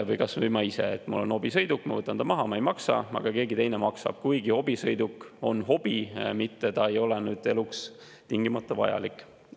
Või kas või ma ise, mul on hobisõiduk, ma võtan ta maha, ma ei maksa, aga keegi teine maksab, kuigi hobisõiduk on hobi jaoks, mitte ta ei ole eluks tingimata vajalik.